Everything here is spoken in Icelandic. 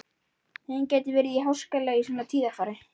Heiðin gat verið háskaleg í svona tíðarfari.